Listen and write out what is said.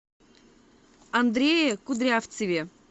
андрее кудрявцеве